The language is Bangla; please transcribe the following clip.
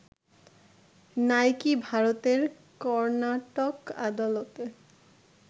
নাইকি ভারতের কর্নাটক আদালতে